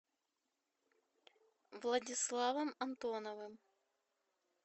владиславом антоновым